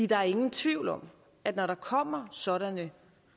der er ingen tvivl om at når der kommer sådanne